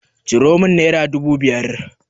Ciro min naira dubu biyar.